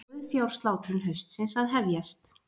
Sauðfjárslátrun haustsins að hefjast